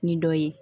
Ni dɔ ye